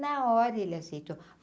Na hora ele aceitou.